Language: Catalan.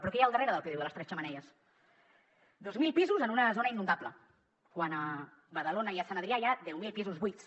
però què hi ha al darrere del pdu de les tres xemeneies dos mil pisos en una zona inundable quan a badalona i a sant adrià hi ha deu mil pisos buits